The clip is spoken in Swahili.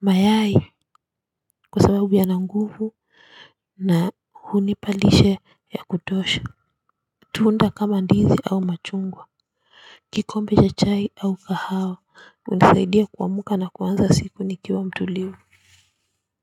Mayai kwa sababu yana nguvu na hunipa lishe ya kutosha. Tunda kama ndizi au machungwa kikombe cha chai au kahawa hunisaidia kuamka na kuanza siku nikiwa mtulivu.